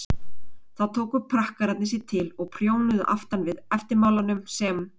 þá tóku prakkararnir sig til og prjónuðu aftan við eftirmálanum sem